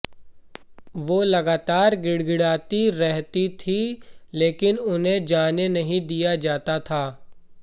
वो लगातार गिड़गिड़ाती रहती थीं लेकिन उन्हें जाने नहीं दिया जाता था